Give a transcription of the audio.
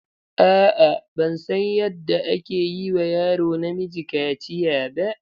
A'a, ban san yadda ake yi wa yaro namiji kaciya ba.